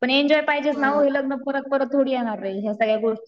पण एन्जॉय पाहिजेच ना वो लग्न परत परत थोडी येणारे ह्या सगळ्या